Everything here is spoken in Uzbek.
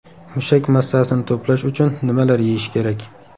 Mushak massasini to‘plash uchun nimalar yeyish kerak?.